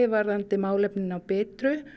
varðandi málefni fólks á birtu